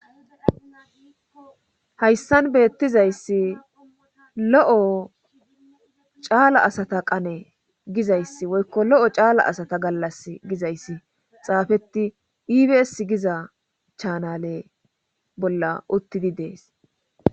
Hayssan beettizayssi lo'o caala asata qane gizayssi woykko lo'o caala asata gallas gizayssi xaafetti ibs giza chaanale bolla uttidi dees.